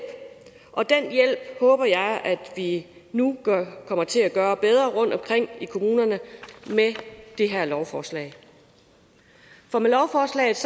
og den hjælp håber jeg at vi nu kommer til at gøre bedre rundtomkring med det her lovforslag for med lovforslaget